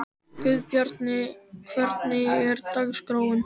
Guðbjarni, hvernig er dagskráin?